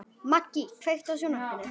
Maggý, kveiktu á sjónvarpinu.